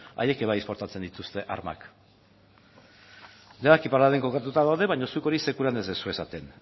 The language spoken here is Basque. haiek ere esportatzen dituzte armak denak iparralden kokatuta daude baina zuk hori sekulan ez duzue esaten